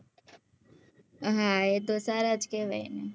એ તો સારા જ કેહવાય ને